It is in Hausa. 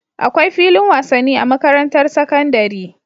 Akwai filin wasan ni a makarantar sakandari